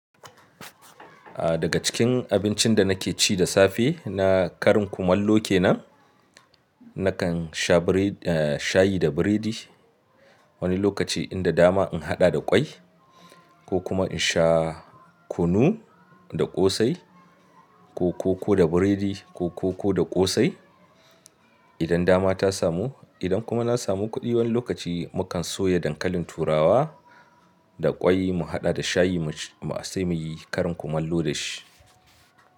A daga cikin abincin da nake ci da safe na karin kumallo kenan. Nakan sha biredi, shayi da biredi. Wani lokaci inda dama in haɗa da kwai ko kuma in sha kunu da ƙosai ko koko da biredi ko koko da ƙosai idan dama ta samu. Idan kuma na samu kuɗi wani lokaci mu kan soya dankalin turawa da ƙwai mu haɗa da shayi mu sai muyi karin kumallo da shi.